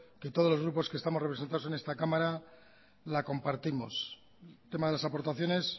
que todos los grupos que estamos representados en esta cámara la compartimos el tema de las aportaciones